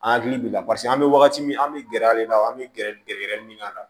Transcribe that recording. An hakili b'i la paseke an bɛ wagati min an bɛ gɛrɛ a la i n'a fɔ an bɛ gɛrɛ gɛrɛ min na